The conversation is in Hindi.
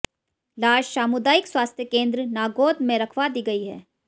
लाश सामुदायिक स्वास्थ्य केन्द्र नागौद में रखवा दी गई है